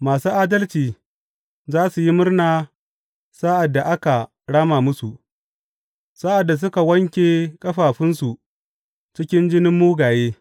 Masu adalci za su yi murna sa’ad da aka rama musu, sa’ad da suka wanke ƙafafunsu cikin jinin mugaye.